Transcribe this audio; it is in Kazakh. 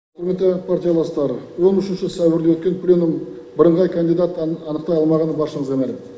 құрметті пратияластар он үшінші сәуірде өткен пленум бірыңғай кандидатты анықтай алмағаны баршамызға мәлім